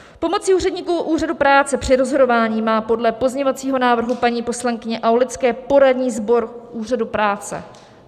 Pomocí úředníků úřadu práce při rozhodování má podle pozměňovacího návrhu paní poslankyně Aulické poradní sbor úřadu práce.